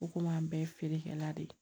U komi an bɛɛ ye feerekɛla de ye